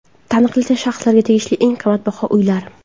Taniqli shaxslarga tegishli eng qimmatbaho uylar .